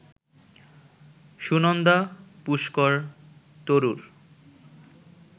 Sunanda Pushkar Tharoor